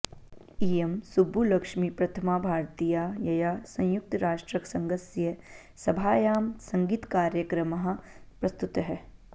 इयं सुब्बुलक्ष्मी प्रथमा भारतीया यया संयुक्तराष्ट्रसङ्घस्य सभायां सङ्गीतकार्यक्रमः प्रस्तुतः